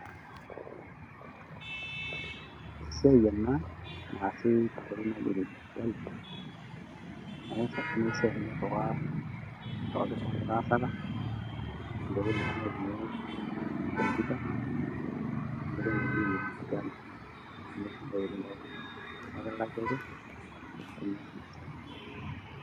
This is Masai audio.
esiai ena naasi tenkoitoi naji ene digitali, naa ias oltungani esiai niriwaki oltungani litaasaka. tenkoitoi naa naitumiyae computer we nkoitoi naji ene digitali ninye esidai oleng tooltunganak, naa ekilaki ake tenias ina siai.